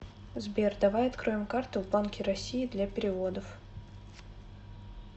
сбер давай откроем карту в банке россии для переводов